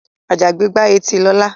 Àjàgbé gbá etí Lọlá.